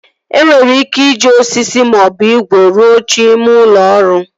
E nwere ike iji osisi maọbụ igwe rụọ oche ime ụlọ ọrụ